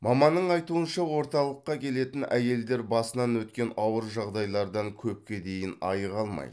маманның айтуынша орталыққа келетін әйелдер басынан өткен ауыр жағдайлардан көпке дейін айыға алмайды